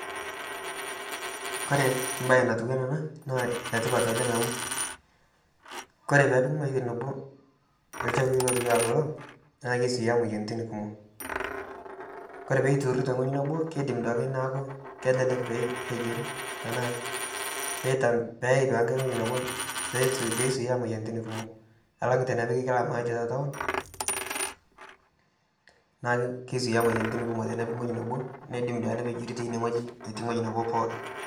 Kore mbaye natiuanaa ana naa netipat oleng amu ,kore peepiki wuejitin nabo ilchapui lotiwaa kulo naa keisuuya imoyiaritin kumok . Kore peituuri te wueji nebo keidim duale naaku kelelek peepejori tanaa peyeu duake nkae wueji, peisuuya imoyiaritin kumok alang tenepiki kila maali te taon naaku keisuuya imoyiaritin kumok tenipiki ngoji nab, neidim duake nepejori teine wueji etii ngoji nabo pooki